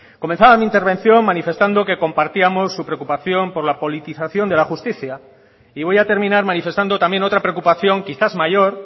comenzaba mi intervención manifestando que compartíamos su preocupación por la politización de la justicia y voy a terminar manifestando también otra preocupación quizás mayor